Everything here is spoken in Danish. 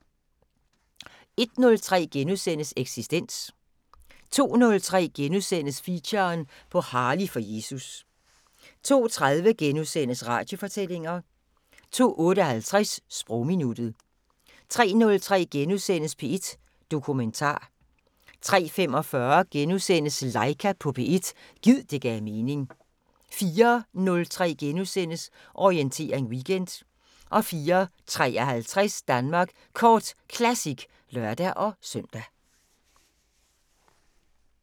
01:03: Eksistens * 02:03: Feature: På Harley for Jesus * 02:30: Radiofortællinger * 02:58: Sprogminuttet 03:03: P1 Dokumentar * 03:45: Laika på P1 – gid det gav mening * 04:03: Orientering Weekend * 04:53: Danmark Kort Classic (lør-søn)